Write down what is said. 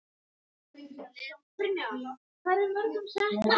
Þú ætlar kannski að kenna mér um hvernig fór.